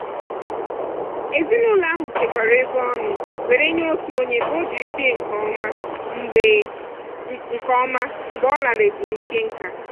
ezinụlọ ahụ chekwara ego ọnụ were nye otu onye ka o jiri bie nke ọma mgbe nke ọma mgbe ọ lara ezumike nká.